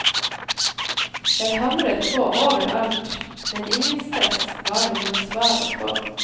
Jeg hamret på overalt, men ingensteds var det noe svar å få.